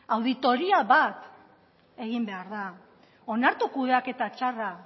auditoria bat egin behar da onartu kudeaketa txarra